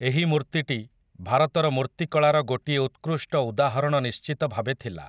ଏହି ମୂର୍ତ୍ତିଟି ଭାରତର ମୂର୍ତ୍ତିକଳାର ଗୋଟିଏ ଉତ୍କୃଷ୍ଟ ଉଦାହରଣ ନିଶ୍ଚିତ ଭାବେ ଥିଲା ।